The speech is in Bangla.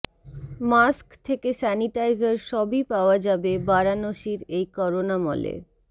মাস্ক থেকে স্যানিটাইজার সবই পাওয়া যাবে বারাণসীর এই করোনা মলে